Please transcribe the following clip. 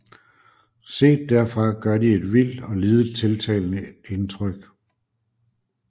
Set derfra gør de et vildt og lidet tiltalende indtryk